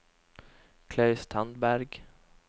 Klaus Tandberg